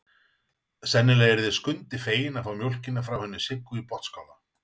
Sennilega yrði Skundi feginn að fá mjólkina frá henni Siggu í Botnsskála.